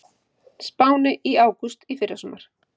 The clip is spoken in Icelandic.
Spáni í ágúst í fyrrasumar.